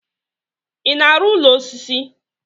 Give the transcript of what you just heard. ị na-arụ ụlọ osisi?